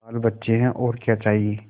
बालबच्चे हैं और क्या चाहिए